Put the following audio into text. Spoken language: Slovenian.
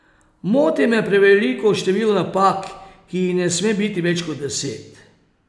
Moti me preveliko število napak, ki jih ne sme biti več kot deset.